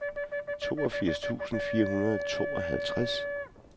toogfirs tusind fire hundrede og tooghalvtreds